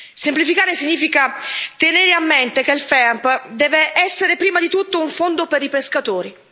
Semplificare significa tenere a mente che il FEAMP deve essere prima di tutto un fondo per i pescatori.